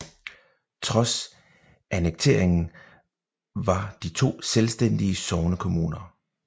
Trods annekteringen var de to selvstændige sognekommuner